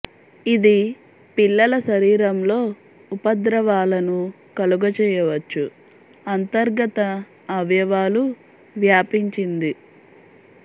ఇది పిల్లల శరీరంలో ఉపద్రవాలను కలుగ చేయవచ్చు అంతర్గత అవయవాలు వ్యాపించింది